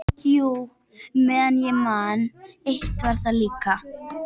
Jú, meðan ég man, eitt var það líka.